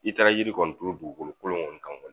I taara yiri kɔni turu dugukolo kolon kɔni kan kɔni